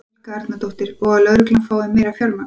Helga Arnardóttir: Og að lögreglan fái meira fjármagn?